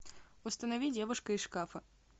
установи девушка из шкафа